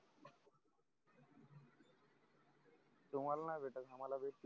तुम्हाला नाही भेटत आम्हाला भेटते